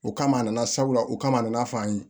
O kama a nana sabula o kama a nana fɔ an ye